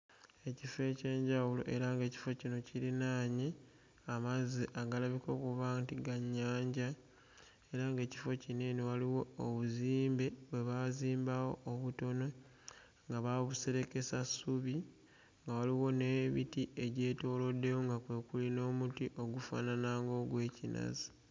Ekifo eky'enjawulo era ng'ekifo kino kirinaanye amazzi agalabika okuba nti ga nnyanja era ng'ekifo kino eno waliwo obuzimbe bwe baazimbawo obutono nga baabuserekesa ssubi, nga waliwo n'emiti egyetooloddewo nga kwe kuli n'omuti ogufaanana ng'ogw'ekinazi.